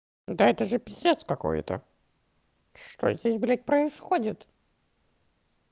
да это же пиздец какой-то что здесь блять происходит